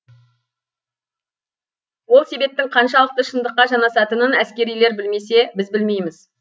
ол себептің қаншалықты шындыққа жанасатынын әскерилер білмесе біз білмейміз